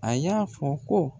A y'a fɔ ko